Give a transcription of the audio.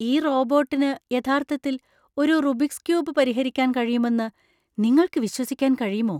ഈ റോബോട്ടിന് യഥാർത്ഥത്തിൽ ഒരു റുബിക്സ് ക്യൂബ് പരിഹരിക്കാൻ കഴിയുമെന്ന് നിങ്ങൾക്ക് വിശ്വസിക്കാൻ കഴിയുമോ?